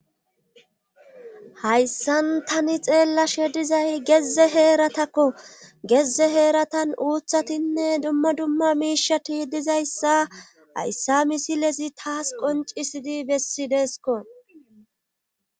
hayssan tani xeellashe dizay geze heeratakko geze heeratan uuthatinne dumma dumma miishati dizayssa hayssa misilezi taas qoncisidi bessideeskko